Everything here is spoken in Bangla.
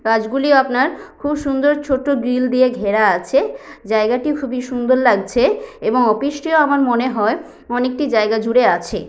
গাছগুলি আপনার খুব সুন্দর ছোট গ্রিল দিয়ে ঘেরা আছে। জায়গাটি খুব সুন্দর লাগছে এবং অফিস -টিও আমার মনে হয় অনেকটি জায়গা জুড়ে আছে।